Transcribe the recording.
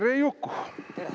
Tere!